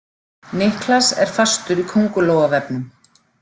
Niklas er fastur í köngulóarvefnum.